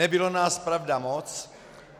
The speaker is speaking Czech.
Nebylo nás, pravda, moc.